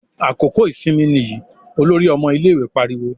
"Àkókò ìsinmi nìyí!" Olórí ọmọ ilé-ìwé pariwo.